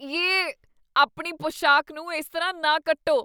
Yay, ਆਪਣੀ ਪੁਸ਼ਾਕ ਨੂੰ ਇਸ ਤਰ੍ਹਾਂ ਨਾ ਕੱਟੋ।